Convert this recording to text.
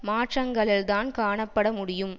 மாற்றங்களில்தான் காணப்பட முடியும்